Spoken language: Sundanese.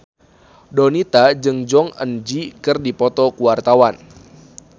Donita jeung Jong Eun Ji keur dipoto ku wartawan